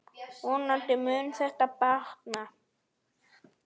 Vonandi mun þetta batna.